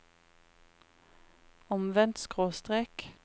omvendt skråstrek